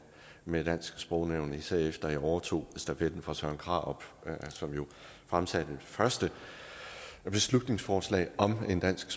med dansk sprognævn især efter jeg overtog stafetten fra søren krarup som jo fremsatte første beslutningsforslag om en dansk